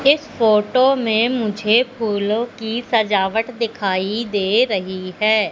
इस फोटो में मुझे फूलों की सजावट दिखाई दे रही है।